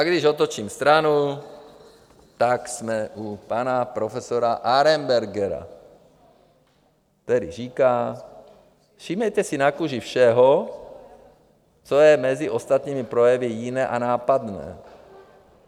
A když otočím stranu, tak jsme u pana profesora Arenbergera, který říká: Všímejte si na kůži všeho, co je mezi ostatními projevy jiné a nápadné.